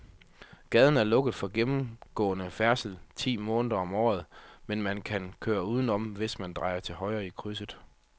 Gaden er lukket for gennemgående færdsel ti måneder om året, men man kan køre udenom, hvis man drejer til højre i krydset.